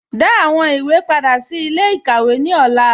Dá àwọn ìwé pádà sí ilẹ̀-ikàwé ní ọlà